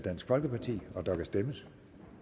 der kan stemmes